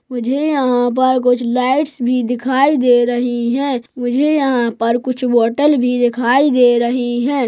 मुझे यहाँ पर कुछ लाईट्स भी दिखाई दे रही हैं मुझे यहाँ पर कुछ बौटल भी दिखाई दे रहे हैं।